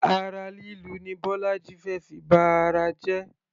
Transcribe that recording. Ara lílu ni bọ́lájí fé fi ba ara jẹ.